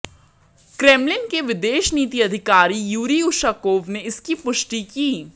Kremlin के विदेश नीति के अधिकारी यूरी उशाकोव ने इसकी पुष्टि की